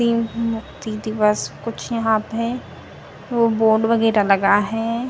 तीन दिवस कुछ यहां पे वो बोर्ड वगेरह लगा है।